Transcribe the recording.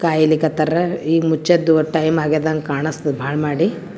ಕಾಯ್ಲಿಕತ್ತರ್ ಈಗ್ ಮುಚ್ಚವೋದೋ ಟೈಮ್ ಆಗಿದಂಗ್ ಕಾಣ್ಸತ್ತದ್ ಬಾಳ್ ಮಾಡಿ .